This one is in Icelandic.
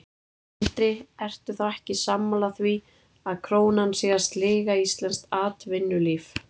Sindri: Ertu þá ekki sammála því að krónan sé að sliga íslenskt atvinnulíf?